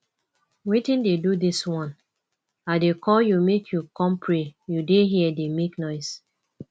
wetin dey do dis one i dey call you make you come pray you dey here dey make noise